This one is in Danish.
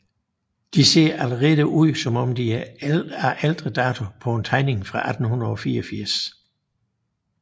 De ser allerede ud som om de er af ældre dato på en tegning fra 1884